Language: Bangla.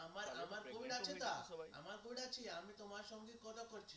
হ্যাঁ হ্যাঁ আমার আমার phone আছে তো আমার phone আছে আমি তোমার সঙ্গে আমি তোমার সঙ্গে কথা বলছি